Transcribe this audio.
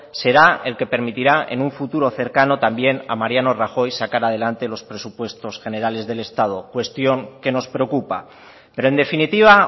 será el que permitirá en un futuro cercano también a mariano rajoy sacar adelante los presupuestos generales del estado cuestión que nos preocupa pero en definitiva